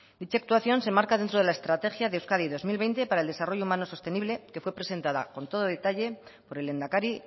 dicha actuación se marca dentro de la estrategia de euskadi dos mil veinte para el desarrollo humano sostenible que fue presentada con todo detalle por el lehendakari